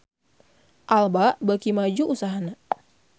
Alba beuki maju usahana